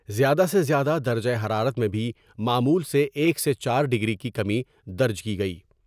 زیادہ سے زیادہ درجہ حرارت میں بھی معمول سے ایک سے چارڈگری کی کمی درج کی گئی ۔